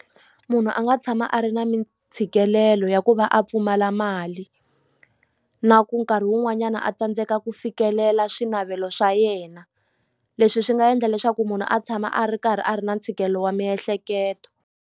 Munhu a nga tshama a ri na mintshikelelo ya ku va a pfumala mali na ku nkarhi wun'wanyana a tsandzeka ku fikelela swinavelo swa yena leswi swi nga endla leswaku munhu a tshama a ri karhi a ri na ntshikelelo wa miehleketo.